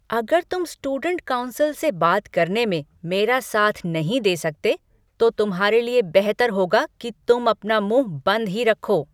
अगर तुम student council से बात करने में मेरा साथ नहीं दे सकते, तो तुम्हारे लिए बेहतर होगा कि तुम अपना मुँह बंद ही रखो।